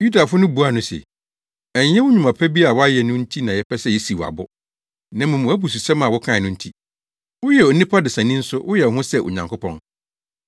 Yudafo no buaa no se, “Ɛnyɛ wo nnwuma pa bi a woayɛ no nti na yɛpɛ sɛ yesiw wo abo, na mmom wʼabususɛm a wokae no nti. Woyɛ onipa desani nso woyɛ wo ho sɛ Onyankopɔn!”